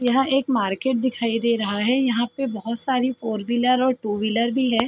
यह एक मार्केट दिखाय दे रहा है। यहाँ पे बहोत सारी फोर व्हीलर और टू व्हीलर भी है।